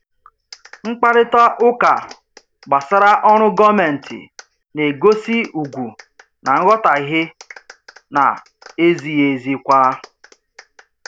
Mkparịta ụka gbasara ọrụ gọọmentị na-egosi ugwu na nghọtahie na-ezighị ezi kwa.